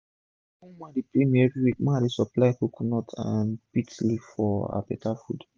one woman dey pay me everi week make i dey supply coconut and bits leaf for her beta food